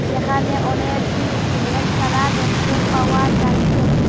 যেখানে অনেক গুলু ফুলের চারা দেখতে পাওয়া যাচ্ছে।